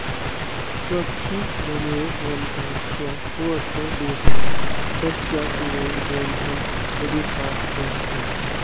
स्वच्छ्न्दमेव रमतां तव कोऽत्र दोषः पश्याचिरेण दयितं मदुपाश्रयस्थम्